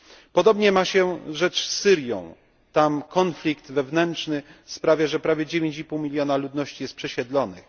Podobnie ma się rzecz z Syrią. Tam konflikt wewnętrzny sprawia, że prawie 9,5 mln ludności jest przesiedlonych.